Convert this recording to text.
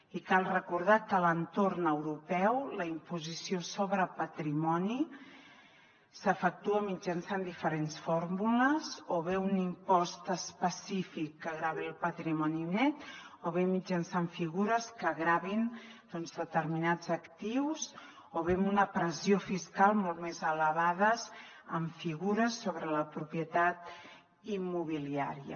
i cal recordar que a l’entorn europeu la imposició sobre patrimoni s’efectua mitjançant diferents fórmules o bé un impost específic que gravi el patrimoni net o bé mitjançant figures que gravin determinats actius o bé amb una pressió fiscal molt més elevada en figures sobre la propietat immobiliària